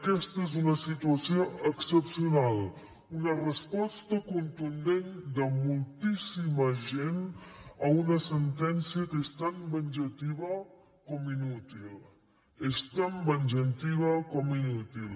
aquesta és una situació excepcional una resposta contundent de moltíssima gent a una sentència que és tan venjativa com inútil és tan venjativa com inútil